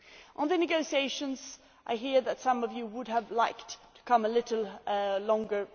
On the negotiations, I am aware that some of you would have liked to take a little longer.